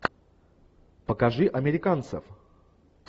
покажи американцев